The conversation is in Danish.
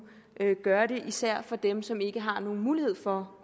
gøre det især for dem som ikke har nogen mulighed for